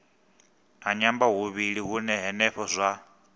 a nyambahuvhili hune henefho zwa